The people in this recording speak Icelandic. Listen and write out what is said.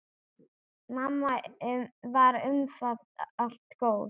Mamma var umfram allt góð.